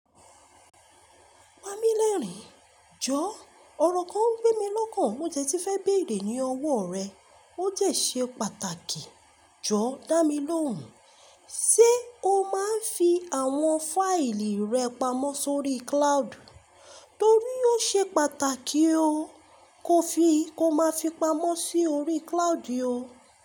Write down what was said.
Pamílẹ́rìn, jọ́ ọ̀rọ̀ kan ń gbé mi lọ́kàn. Mo dẹ tí fẹ́ béèrè ní ọwọ́ rẹ. Ó dẹ́ ṣe pàtàkì jọ́ dá mi lóhùn. Ṣé o máa ń fi àwọn fáìlì rẹ pamọ́ sórí cloud? Torí ó ṣe pàtàkì ó, kó fi kó má fi pamọ́ sí orí cloud o.